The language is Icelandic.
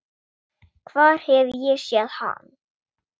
Hvar hef ég séð hann?